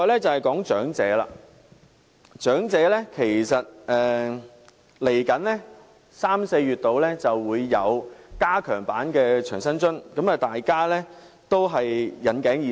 至於長者方面，其實在三四月左右便會推出加強版的長者生活津貼，大家也引頸以待。